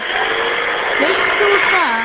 Veist þú það?